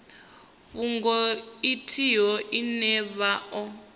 fhungo ithihi ine vha o